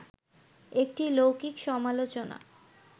একটি লৌকিক সমালোচনা